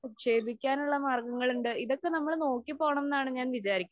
നിക്ഷേപിക്കാനുള്ള മാർഗ്ഗങ്ങളുണ്ട്. ഇതൊക്കെ നമ്മള് നോക്കി പോകണം എന്നാണ് ഞാൻ വിചാരിക്കാ